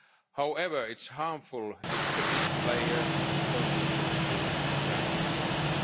ongoing negotiations. However, it's harmful if the big players continue